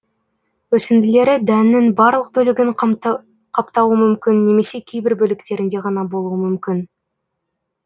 өсінділері дәннің барлық бөлігін қаптауы мүмкін немесе кейбір бөліктерінде ғана болуы мүмкін